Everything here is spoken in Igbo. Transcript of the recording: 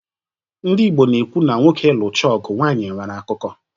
Ndị Igbo na-ekwu na "nwoke lụchaa ọgụ, nwanyị e nwere akụkọ"